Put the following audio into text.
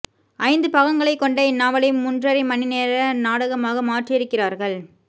ஐந்து பாகங் களைக் கொண்ட இந்நாவலை மூன் றரை மணி நேர நாடகமாக மாற்றியிருக் கிறார்கள்